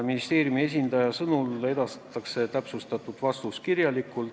Ministeeriumi esindaja sõnas, et täpsustatud vastus esitatakse kirjalikult.